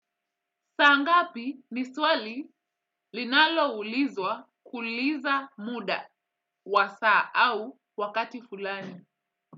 Saa ngapi ni swali linaloulizwa kuuliza muda, wa saa au wakati fulani?